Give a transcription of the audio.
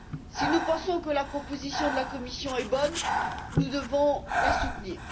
Si nous pensons que la proposition de la Commission est bonne, nous devons la soutenir.